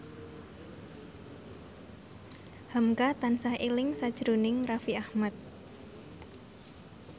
hamka tansah eling sakjroning Raffi Ahmad